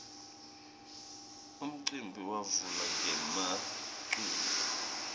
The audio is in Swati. umcimbi wavula ngemaculo